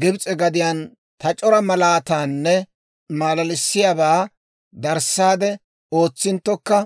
Gibs'e gadiyaan ta c'ora malaatanne maalaalissiyaabaa darissaade ootsinttokka,